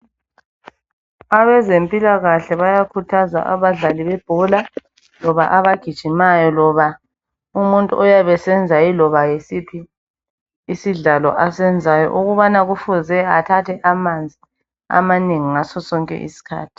Abezempilakahle bayakhuthaza abadlali bebhola, loba abagijimayo, loba umuntu oyabe esenza yiloba yiziphi isidlalo ukubana kufuze athathe amanzi amanengi ngaso sonke iskhathi.